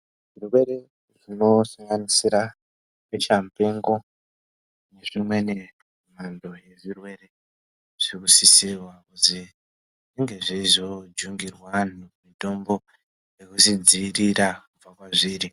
Zvirwere zvinosanganisira besha mupengo nezvimweni mhando yezvirwere zvinosisirwe kuzwi zvinge zveizojungirwa antu mitombo yekuzvidzivirira kubva kwazviri.